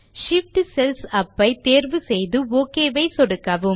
Shift cells up ஐ தேர்வு செய்து ஒக் ஐ சொடுக்கவும்